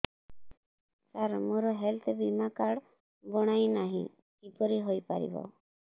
ସାର ମୋର ହେଲ୍ଥ ବୀମା କାର୍ଡ ବଣାଇନାହିଁ କିପରି ହୈ ପାରିବ